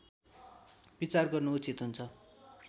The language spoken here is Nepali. विचार गर्नु उचित हुन्छ